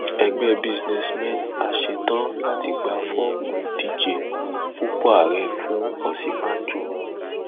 ẹgbẹ businessmen a ṣetán láti gba fọọmù ìdíje fúnpọ ààrẹ fún òsínbàjò